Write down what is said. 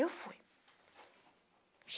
Eu fui.